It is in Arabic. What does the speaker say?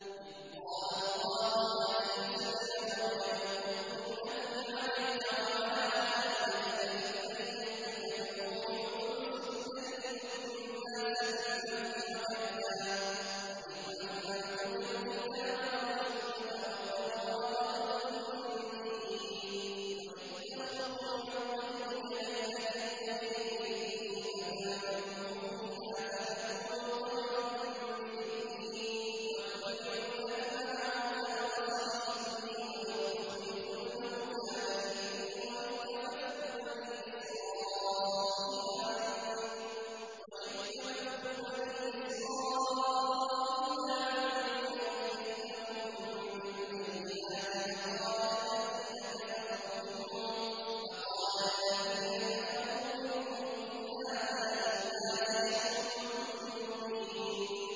إِذْ قَالَ اللَّهُ يَا عِيسَى ابْنَ مَرْيَمَ اذْكُرْ نِعْمَتِي عَلَيْكَ وَعَلَىٰ وَالِدَتِكَ إِذْ أَيَّدتُّكَ بِرُوحِ الْقُدُسِ تُكَلِّمُ النَّاسَ فِي الْمَهْدِ وَكَهْلًا ۖ وَإِذْ عَلَّمْتُكَ الْكِتَابَ وَالْحِكْمَةَ وَالتَّوْرَاةَ وَالْإِنجِيلَ ۖ وَإِذْ تَخْلُقُ مِنَ الطِّينِ كَهَيْئَةِ الطَّيْرِ بِإِذْنِي فَتَنفُخُ فِيهَا فَتَكُونُ طَيْرًا بِإِذْنِي ۖ وَتُبْرِئُ الْأَكْمَهَ وَالْأَبْرَصَ بِإِذْنِي ۖ وَإِذْ تُخْرِجُ الْمَوْتَىٰ بِإِذْنِي ۖ وَإِذْ كَفَفْتُ بَنِي إِسْرَائِيلَ عَنكَ إِذْ جِئْتَهُم بِالْبَيِّنَاتِ فَقَالَ الَّذِينَ كَفَرُوا مِنْهُمْ إِنْ هَٰذَا إِلَّا سِحْرٌ مُّبِينٌ